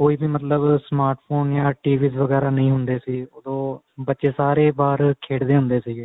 ਕੋਈ ਮਤਲਬ smart phone ਜਾਂ TV'S ਵਗੈਰਾ ਨਹੀਂ ਹੁੰਦੇ ਸੀ ਉਦੋ ਬੱਚੇ ਸਾਰੇ ਬਾਹਰ ਖੇਡਦੇ ਹੁੰਦੇ ਸੀਗੇ